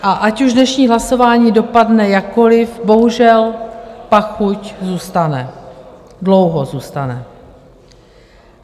A ať už dnešní hlasování dopadne jakkoliv, bohužel pachuť zůstane, dlouho zůstane.